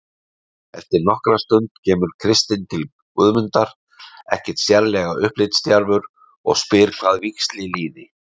Eftir nokkra stund kemur Kristinn til Guðmundar, ekkert sérlega upplitsdjarfur, og spyr hvað víxli líði.